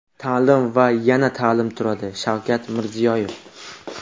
taʼlim va yana taʼlim turadi — Shavkat Mirziyoyev.